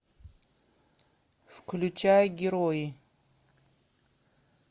включай герои